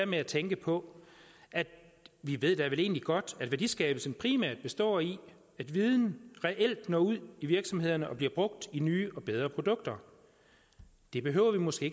med at tænke på at vi da vel egentlig godt at værdiskabelsen primært består i at viden reelt når ud i virksomhederne og bliver brugt i nye og bedre produkter det behøver vi måske